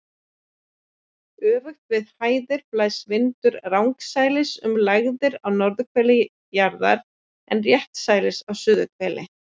Öfugt við hæðir blæs vindurinn rangsælis um lægðir á norðurhveli jarðar en réttsælis á suðurhveli.